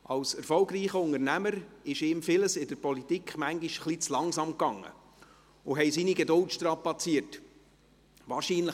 Als erfolgreicher Unternehmer ging ihm vieles in der Politik manchmal ein wenig zu langsam und strapazierte seine Geduld.